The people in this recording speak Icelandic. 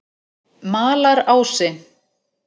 Malarási